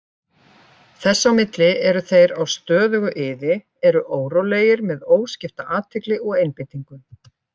Þess á milli eru þeir á stöðugu iði, eru órólegir með óskipta athygli og einbeitingu.